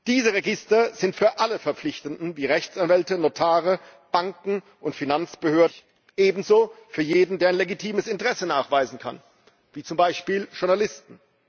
Diese Register sind für alle Verpflichteten wie Rechtsanwälte, Notare, Banken und Finanzbehörden frei zugänglich, ebenso für jeden, der ein legitimes Interesse nachweisen kann, wie zum Beispiel Journalisten.